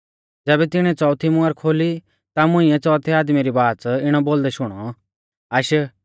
ज़ैबै तिणीऐ च़ोअथी मुहर खोली ता मुंइऐ च़ौथै आदमी री बाच़ इणौ बोलदै शुणौ आश